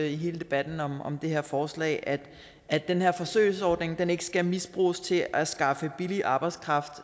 i hele debatten om om det her forslag at at den her forsøgsordning ikke skal misbruges til at skaffe billig arbejdskraft